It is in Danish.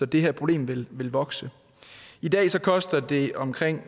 det her problem vil vil vokse i dag koster det omkring